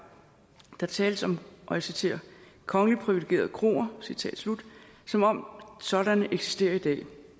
der tales om og jeg citerer kongeligt privilegerede kroer citat slut som om sådanne eksisterer i dag